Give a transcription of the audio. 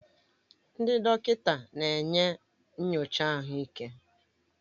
Ndị dọkịta na-enye nyocha ahụike